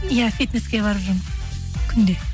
иә фитнеске барып жүрмін күнде